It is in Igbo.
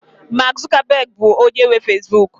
Mak Zukabegị bụ onye nwe fezbuk